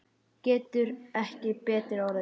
Getur ekki betri orðið.